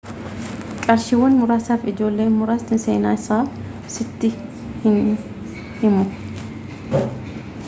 qarshiiwwan muraasaf ijoollen muraasni seenaa isaa sitti in himu